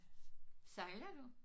Sejler du?